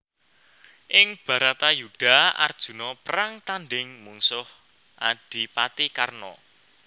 Ing Bharatayudha Arjuna perang tandhing mungsuh Adipati Karna